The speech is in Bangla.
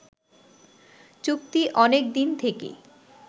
চুক্তি অনেক দিন থেকে